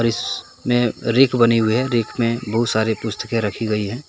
इसमें रैक बनी हुई है रैक में बहुत सारे पुस्तकें रखी गई हैं।